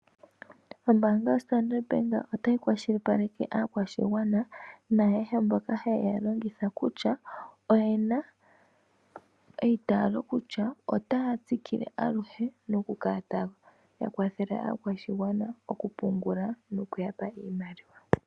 Ombaanga yoStandard Bank otayi kwashilipaleke aakwashigwana naayehe mboka haye yi longitha kutya oye na eitaalo kutya otaya tsikile aluhe nokukala taya kwathele aakwashigwana, noku yapa oshimaliwa.